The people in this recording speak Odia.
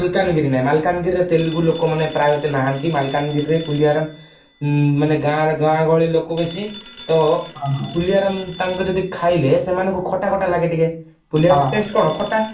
ମାଲକାନଗିରି ନାଇ ମାଲକାନଗିରିରେ ତେଲୁଗୁ ଲୋକ ମାନେ ପ୍ରାୟ ଏତେ ନାହାଁନ୍ତି ମାଲକାନଗିରି ପୁଲିଆରମ ମାନେ ଗାଁ ଗହଳି ଲୋକ ବେଶି ତ ପୁଲିଆରମ ତାଙ୍କେ ଯଦି ଖାଇଲେ ସେମାନଙ୍କୁ ଖଟା ଖଟା ଲାଗେ ଟିକେ ପୁଲିଆରମ taste କଣ ଖଟା